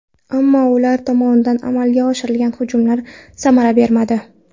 Ammo ular tomonidan amalga oshirilgan hujumlar samara bermadi.